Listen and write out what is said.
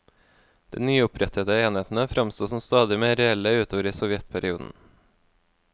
De nyopprettede enhetene framsto som stadig mer reelle utover i sovjetperioden.